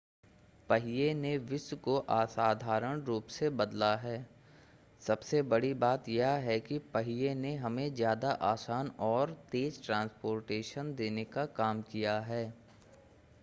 पहिए ने विश्व को असाधारण रूप से बदला है सबसे बड़ी बात यह है कि पहिए ने हमें ज़्यादा आसान और तेज़ ट्रांस्पोर्टेशन देने का काम किया है